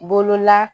Bolola